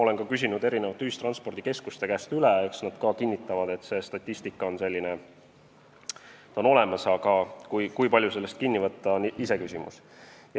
Olen küsinud ka ühistranspordikeskuste käest üle ja nemadki kinnitavad, et statistika on küll olemas, aga kui palju sellest kinni võtta, on iseküsimus.